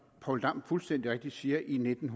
poul dam fuldstændig rigtigt siger i nitten